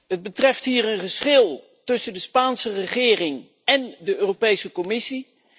Het betreft hier een geschil tussen de Spaanse regering en de Europese Commissie.